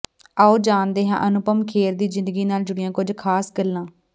ਆਓ ਜਾਣਦੇ ਹਾਂ ਅਨੁਪਮ ਖੇਰ ਦੀ ਜ਼ਿੰਦਗੀ ਨਾਲ ਜੁੜੀਆਂ ਕੁਝ ਖਾਸ ਗੱਲਾਂ